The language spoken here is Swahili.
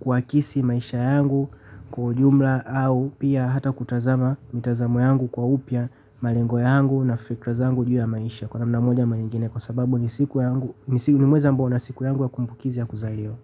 kuakisi maisha yangu kwa ujumla au pia hata kutazama mitazamo yangu kwa upya. Malengo yangu na fikra zangu juu ya maisha kwa namna moja ama nyingine kwa sababu ni siku yangu, ni mwezi ambao una siku yangu ya kumbukizi ya kuzaliwa.